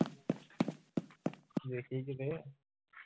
ਵੇਖੀ ਕੀਤੇ